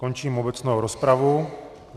Končím obecnou rozpravu.